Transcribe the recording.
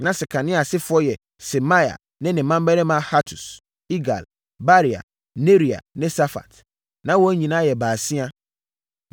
Na Sekania asefoɔ yɛ Semaia ne ne mmammarima Hatus, Igal, Baria, Nearia ne Safat. Na wɔn nyinaa yɛ baasia.